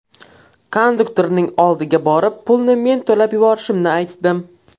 Konduktorning oldiga borib, pulni men to‘lab yuborishimni aytdim.